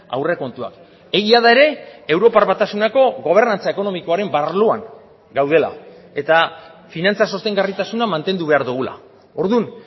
aurrekontuak egia da ere europar batasuneko gobernantza ekonomikoaren arloan gaudela eta finantza sostengarritasuna mantendu behar dugula orduan